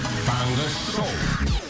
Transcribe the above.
таңғы шоу